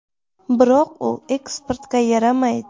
Biroq u eksportga yaramaydi.